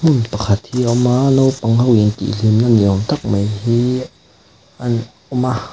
hmun pakhat hi a awm a naupang intih hlimna ni awm tak mai hi an awm a.